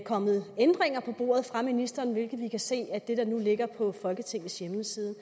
kommet ændringer på bordet af ministeren hvilket vi kan se af det forslag der ligger på folketingets hjemmeside